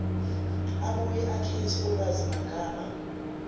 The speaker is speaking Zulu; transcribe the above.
abuye akhethe ulwazimagama